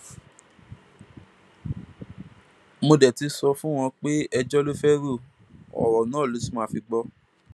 mo dé ti sọ fún wọn pé ẹjọ ló fẹẹ ro ọrọ ló sì máa fi gbọ